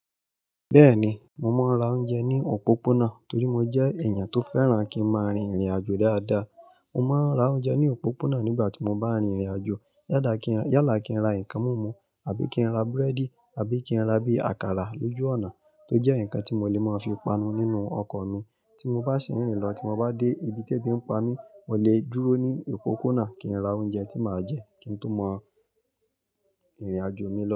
Bẹ́ẹ̀ni, mo máa ń ra oúnjẹ ní òpópónà torí mo jẹ́ ẹ̀yàn tó fẹ́ràn kí n máa rin ìrìnàjò dáadáa. Mo máa ń ra oúnjẹ ní òpópónà nígbà tí mo bá ń rin ìrìnàjò. Yálà kí n ra nǹkan múmu, àbí kí n ra búrẹ́dì, àbí kí n ra bí àkàrà lójú ọ̀nà tó jẹ́ ǹkan tí mo lè máa fi panu nínú ọkọ̀ mi. Tí mo bá ṣe ìrìn lọ, tí mo bá dé ibi tí ẹbí ń pa mí, mo lè dúró ní òpópónà kí n ra oúnjẹ tí màá jẹ kí n tún mọ ìrìnàjò mi lọ.